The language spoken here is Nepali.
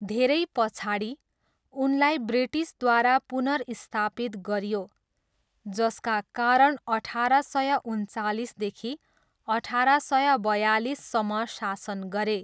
धेरै पछाडि, उनलाई ब्रिटिसद्वारा पुनर्स्थापित गरियो, जसका कारण अठार सय उन्चालिसदेखि अठार सय बयालिससम्म शासन गरे।